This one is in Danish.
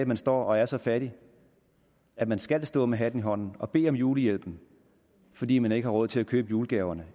man står og er så fattig at man skal stå med hatten i hånden og bede om julehjælp fordi man ikke har råd til at købe julegaverne